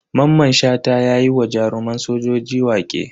Maman Shata yayi wa jaruman sojoji waƙe.